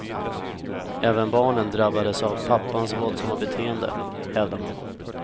Även barnen drabbades av pappans våldsamma beteende, hävdar mamman.